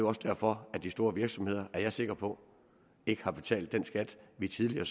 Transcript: også derfor at de store virksomheder er jeg sikker på ikke har betalt den skat vi tidligere